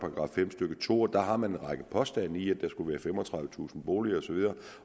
fem stykke to og der har man en række påstande i at der skulle være femogtredivetusind boliger osv